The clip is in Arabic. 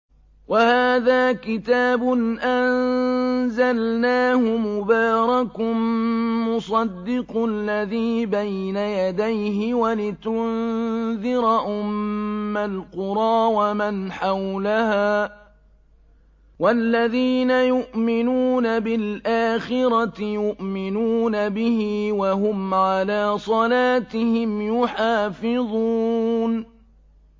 وَهَٰذَا كِتَابٌ أَنزَلْنَاهُ مُبَارَكٌ مُّصَدِّقُ الَّذِي بَيْنَ يَدَيْهِ وَلِتُنذِرَ أُمَّ الْقُرَىٰ وَمَنْ حَوْلَهَا ۚ وَالَّذِينَ يُؤْمِنُونَ بِالْآخِرَةِ يُؤْمِنُونَ بِهِ ۖ وَهُمْ عَلَىٰ صَلَاتِهِمْ يُحَافِظُونَ